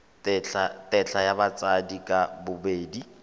tetla ya batsadi ka bobedi